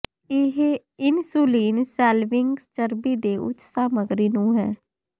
ਇਹ insulin shelving ਚਰਬੀ ਦੇ ਉੱਚ ਸਮੱਗਰੀ ਨੂੰ ਹੈ